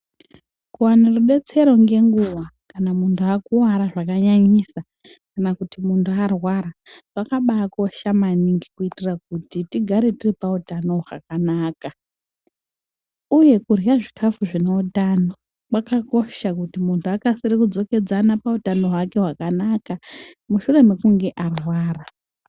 Kuwane detsero ngenguwa kana mtu akuwara zvakanyanyisa kana kuti muntu arwara kwakabaakosha maningi kuitira kuti tigare tiri pautano hwakanaka uye kurye zvikafu zvine utano kwakakosha kuti muntu akasire pakudzokedzana utano hwake hwakanaka mushure mekunge arwara.